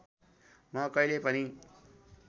म कहिल्यै पनि